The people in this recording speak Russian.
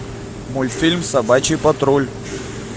мультфильм собачий патруль